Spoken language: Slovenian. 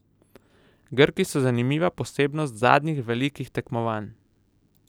Grki so zanimiva posebnost zadnjih velikih tekmovanj.